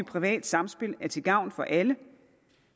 privat samspil er til gavn for alle